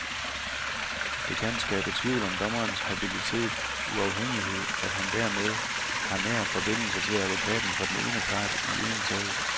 Det kan skabe tvivl om dommerens habilitet, uafhængighed, at han dermed har nær forbindelse til advokaten for den ene part i en sag.